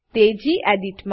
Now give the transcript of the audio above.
તે ગેડિટ